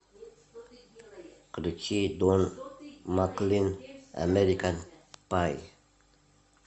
включи дон маклин американ пай